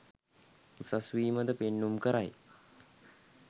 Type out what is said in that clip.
උසස්වීමද පෙන්නුම් කරයි.